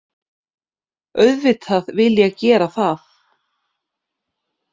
Auðvitað vil ég gera það